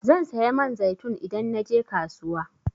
Zan saya man zaitun idan naje kasuwa.